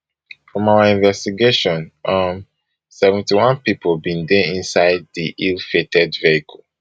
from our investigation um seventy-one pipo bin dey inside di illfated vehicle